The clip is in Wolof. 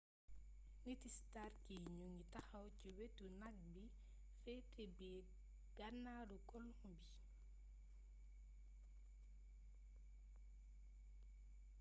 niti stark yi ñu ngi taxaw ci wetu ñagg bi féete bëj gànnaaru colon bi